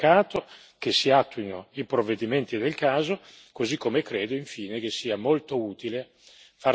Dunque è molto importante che ciò venga rimarcato, che si attuino i provvedimenti del caso.